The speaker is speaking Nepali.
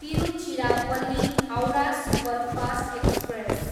Tiruchirappalli, Howrah superfast express